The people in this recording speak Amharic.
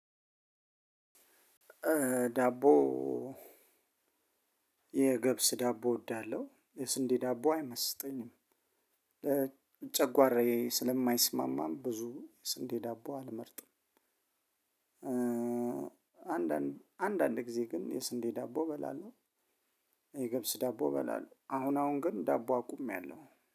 ዳቦ የገብስ ዳቦ እወዳለሁ። የስንዴ ዳቦ አይመስጠኝም። ጨጓራዬ ስለማይስማማም ብዙ የስንዴ ዳቦ አልመርጥም። አንዳንድ ጊዜ ግን የስንዴ ዳቦ እበላለሁ። የገብስ ዳቦ እበላለሁ። አሁን አሁን ግን ዳቦ አቁሜያለሁ።